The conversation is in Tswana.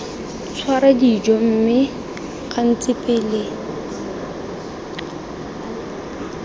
tshwara dijo mme gantsi pele